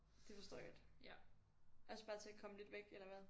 Det forstår jeg godt. Også bare til at komme lidt væk eller hvad?